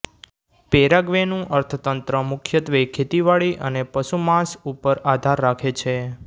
પેરાગ્વેનું અર્થતંત્ર મુખ્યત્વે ખેતીવાડી અને પશુમાંસ ઉપર આધાર રાખે છે